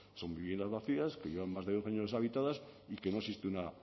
son viviendas vacías que llevan más de dos años deshabitadas y que no existe una